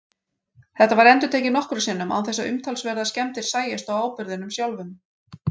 Þetta var endurtekið nokkrum sinnum án þess að umtalsverðar skemmdir sæjust á áburðinum sjálfum.